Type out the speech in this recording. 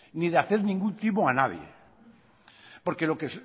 ni de hacer ningún timo a nadie porque lo que